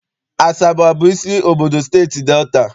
Asaba abụ isi obodo Steeti Delta?